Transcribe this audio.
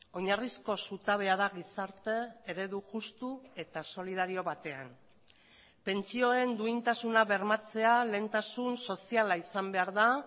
oinarrizko zutabea da gizarte eredu justu eta solidario batean pentsioen duintasuna bermatzea lehentasun soziala izan behar da